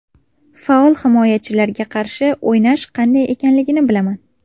Faol himoyachilarga qarshi o‘ynash qanday ekanligini bilaman.